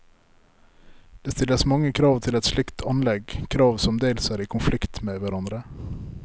Det stilles mange krav til et slikt anlegg, krav som dels er i konflikt med hverandre.